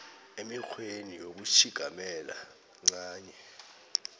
emikghweni yokutjhigamela ncanye